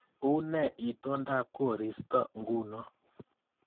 Unee itondab koristo nguno